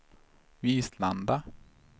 Vislanda